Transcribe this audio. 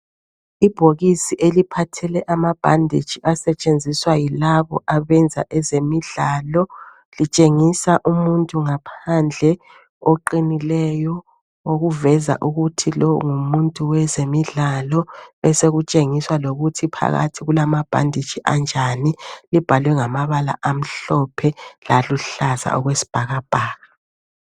Ibhokisi eliphathele amabhanditshi asetshenziswa yilabo abenza ezemidlalo litshengisa umuntu ngaphandle oqinileyo okuveza ukuthi lo ngumuntu wezemidlalo, besekutshengiswa lokuthi phakathi kulamabhanditshi anjani. Libhalwe ngamabala amhlophe laluhlaza okwesibhakabhaka.